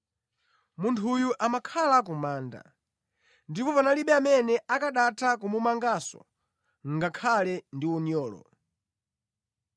Munthuyu amakhala ku manda, ndipo panalibe amene akanatha kumumanganso ngakhale ndi unyolo.